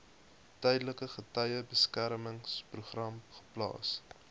tydelike getuiebeskermingsprogram geplaas